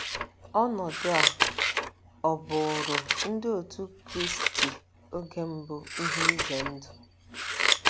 Ọnọdụ a ọ̀ bụụrụ Ndị Otú Kristi oge mbụ ihe ize ndụ?